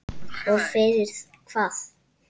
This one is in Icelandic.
Og fyrir hvað?